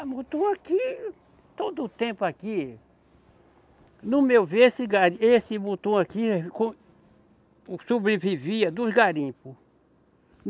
Ah, Mutum aqui, todo o tempo aqui, no meu ver, esse gari, esse Mutum aqui sobrevivia dos garimpos.